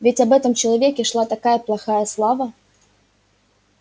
ведь об этом человеке шла такая плохая слава